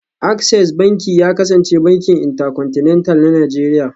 Access Banki ya kasance bankin Intercontinental na Najeriya